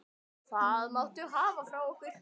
Það máttu hafa frá okkur.